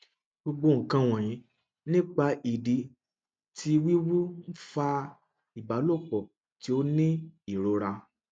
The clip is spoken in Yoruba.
gbogbo nkan wọnyi nipa idi ti wiwu nfa ibalopọ ti o ni irora